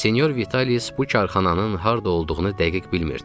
Senyor Vitalis bu karxananın harda olduğunu dəqiq bilmirdi.